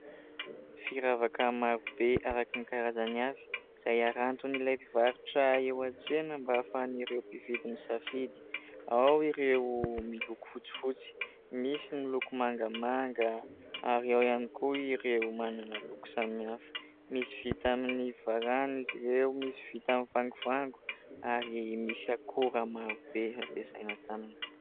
Firavaka marobe araka ny karazany avy izay haranton'ilay mpivarotra eo an-tsena mba ahafahan'ireo mpividy misafidy : ao ireo miloko fotsifotsy, misy ny loko mangamanga ary ao ihany koa ireo manana loko samihafa, misy vita amin'ny varahana izy ireo, misy vita amin'ny vangovango ary misy akora marobe ampiasaina taminy.